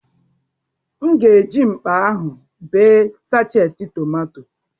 M ga-eji mkpa ahụ bee sachetị tọmatọ.